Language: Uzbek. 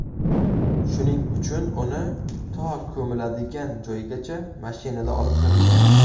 Shuning uchun uni to ko‘miladigan joygacha mashinada olib kirilgan.